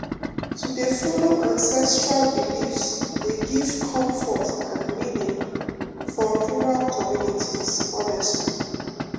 to dey follow ancestral beliefs dey give comfort and meaning for rural communities honestly